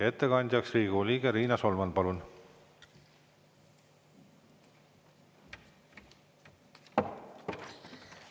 Ettekandjaks Riigikogu liige Riina Solman, palun!